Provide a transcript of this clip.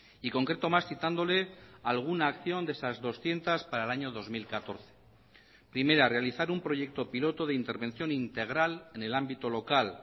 y concreto más citándole alguna acción de esas doscientos para el año dos mil catorce primera realizar un proyecto piloto de intervención integral en el ámbito local